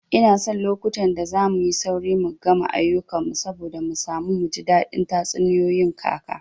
Ina son lokutan da zamuyi sauri mu gama ayukan mu saboda mu samu muji daɗin tatsuniyoyin kaka